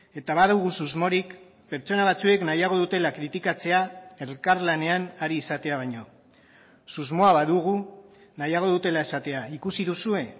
eta badugu susmorik pertsona batzuek nahiago dutela kritikatzea elkarlanean ari izatea baino susmoa badugu nahiago dutela esatea ikusi duzue